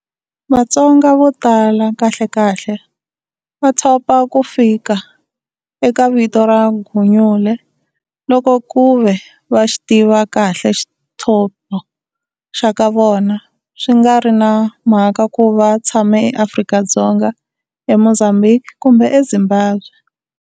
Vatsonga vo tala, kahlekahle, va thopa ku fika eka vito ra Gunyule loko kuve va xi tiva kahle xithopo xa ka vona, swi nga ri na mhaka ku va tshama eAfrica Dzonga, eMozambique, kumbe eZimbabwe.